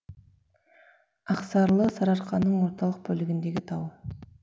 ақсарлы сарыарқаның орталық бөлігіндегі тау